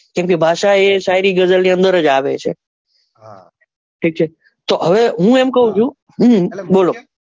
કેમ કે ભાષા એ શાયરી ગઝલ ની અંદર જ આવે છે એટલે હું એમ કઉં છું બોલો.